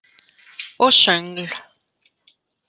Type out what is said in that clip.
Og söngl.